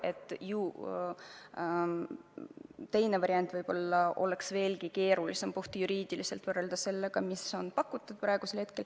Aga teine variant oleks puhtjuriidiliselt võib-olla veelgi keerulisem ellu viia võrreldes sellega, mis on praegu välja pakutud.